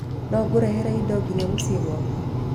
No ngũrehere indo nginya mũciĩ gwaku